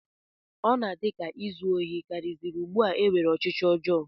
Ọ na-adị m ka izu ohi karịziri ugbu a e nwere ọchịchọ ọjọọ